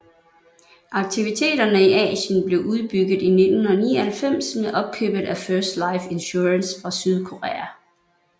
Aktiviteterne i Asien blev udbygget i 1999 med opkøbet af First Life Insurance fra Sydkorea